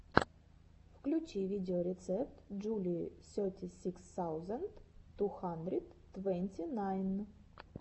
включи видеорецепт джулии сети сикс саузенд ту хандрид твэнти найн